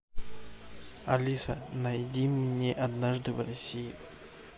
алиса найди мне однажды в россии